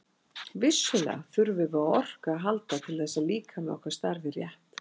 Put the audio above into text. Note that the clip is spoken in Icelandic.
Vissulega þurfum við á orku að halda til þess að líkami okkar starfi rétt.